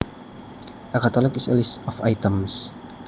A catalog is a list of items